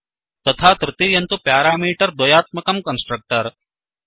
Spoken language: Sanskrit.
तथा तृतीयं तु प्यारामीटर् द्वयात्मकं कन्स्ट्रक्टर्